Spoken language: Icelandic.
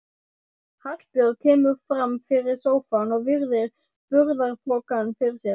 Hallbjörg kemur fram fyrir sófann og virðir burðarpokann fyrir sér.